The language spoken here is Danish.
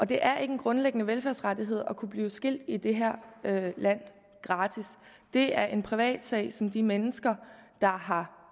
det er ikke en grundlæggende velfærdsrettighed at kunne blive skilt gratis i det her land det er en privatsag som de mennesker der har